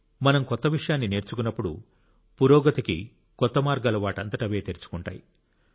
మనం కొత్త విషయాన్ని నేర్చుకున్నప్పుడు పురోగతికి కొత్త మార్గాలు వాటంతట అవే తెరుచుకుంటాయి